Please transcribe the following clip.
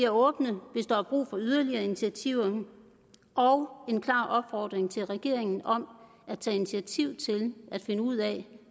åbne hvis der er brug for yderligere initiativer og en klar opfordring til regeringen om at tage initiativ til at finde ud af